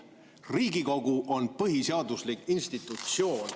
Riigikogu on põhiseaduslik institutsioon.